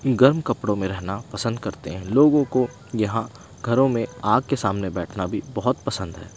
गर्म कपड़ों में रहना पसंद करते हैं लोगों को यहां घरों में आग के सामने बैठना भी बहुत पसंद है।